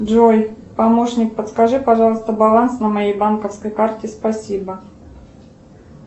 джой помощник подскажи пожалуйста баланс на моей банковской карте спасибо